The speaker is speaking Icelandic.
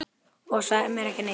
Og sagðir mér ekki neitt!